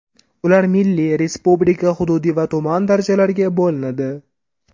Ular milliy, respublika, hududiy va tuman darajalariga bo‘linadi.